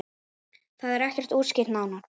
Það er ekki útskýrt nánar.